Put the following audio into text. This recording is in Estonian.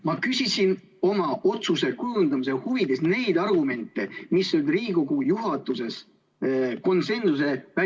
Ma küsisin oma otsuse kujundamise huvides neid argumente, mis välistasid Riigikogu juhatuses konsensuse.